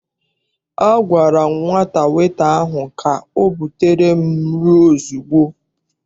A gwara m nwata weta ahụ ka ọ butere m nri ozugbo!